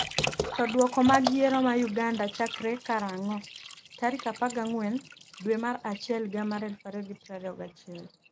to Duoko mag yiero ma Uganda chakre karang'o tarik 14 dwe mar achiel higa mar 2021?